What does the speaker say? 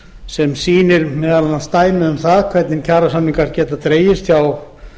sem sýnir dæmi um hvernig kjarasamningar geta dregist hjá